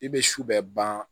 I bɛ su bɛ ban